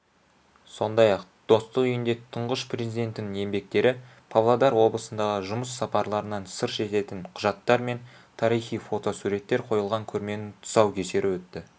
сондай-ақ достық үйінде тұңғыш президентінің еңбектері павлодар облысындағы жұмыс сапарларынан сыр шертетін құжаттар мен тарихи фотосуреттер қойылған көрменің тұсаукесері өтті